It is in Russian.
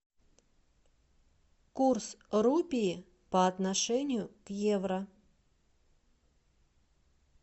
курс рупии по отношению к евро